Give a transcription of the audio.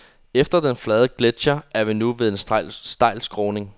Efter den flade gletscher er vi nu ved en stejl skråning.